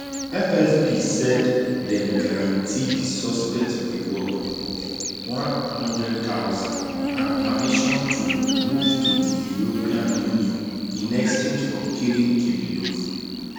fsb said dem guarantee di suspect reward of 100000 and permission to move to di european union in exchange for killing kirillov